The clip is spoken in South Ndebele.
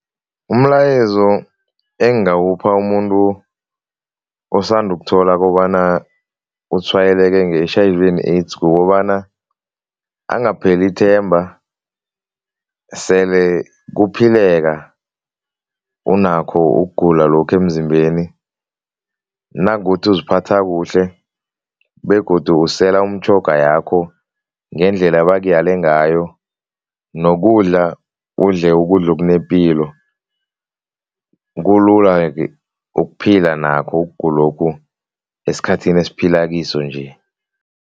Umlayezo engingawupha umuntu osanda ukuthola kobana utshwayeleke nge-H_I_V and AIDS, kukobana angapheli ithemba, sele kuphileka unakho ukugula lokho emzimbeni, nangothi uziphatha kuhle begodu usela umtjhoga yakho ngendlela ebakuyele ngayo nokudla udle ukudla okunepilo, kulula-ke ukuphila nakho ukugulokhu esikhathini esiphila kiso nje.